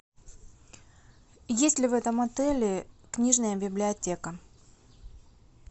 есть ли в этом отеле книжная библиотека